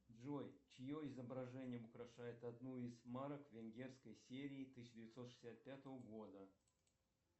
джой чье изображение украшает одну из марок венгерской серии тысяча девятьсот шестьдесят пятого года